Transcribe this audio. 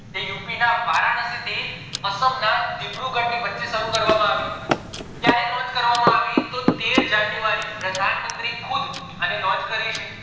જે યુપી ના વારાણસી થી અસ્સમ ના દિબ્રુગઢ ની વચે શરુ કરવામાં આવી ક્યારે launch કરવામાં આવી તો તેર january પ્રધાન મંત્રી ખુદ અણી launch કરી છે